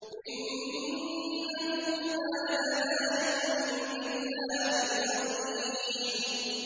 إِنَّهُ كَانَ لَا يُؤْمِنُ بِاللَّهِ الْعَظِيمِ